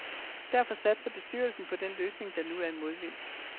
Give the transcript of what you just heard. Derfor satser bestyrelsen på den løsning, der nu er i modvind.